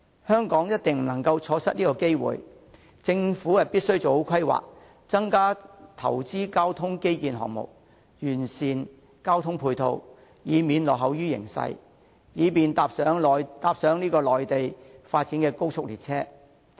香港一定不能錯失機會，政府必須做好規劃，增加投資交通基建項目，完善交通配套，以免落後於形勢，以便搭上內地發展的高速列車。